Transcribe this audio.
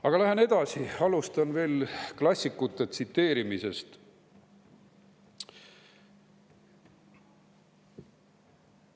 Aga lähen edasi, tsiteerin klassikuid.